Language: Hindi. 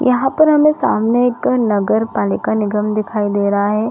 यहाँ पर हमें सामने एक नगर पालिका निगम दिखाई दे रहा है।